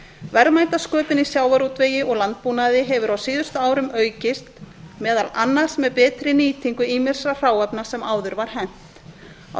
verðmætasköpun í sjávarútvegi og landbúnaði hefur á síðustu árum aukist meðal annars með betri nýtingu ýmissa hráefnis sem áður var hent á